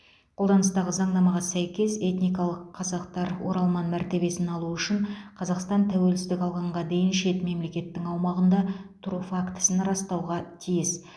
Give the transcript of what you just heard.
қолданыстағы заңнамаға сәйкес этникалық қазақтар оралман мәртебесін алу үшін қазақстан тәуелсіздік алғанға дейін шет мемлекеттің аумағында тұру фактісін растауға тиіс